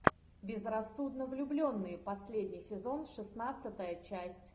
безрассудно влюбленные последний сезон шестнадцатая часть